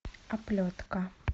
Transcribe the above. оплетка